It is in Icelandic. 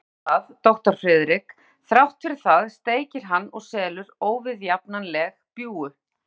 En þrátt fyrir það, doktor Friðrik, þrátt fyrir það steikir hann og selur óviðjafnanleg bjúgu.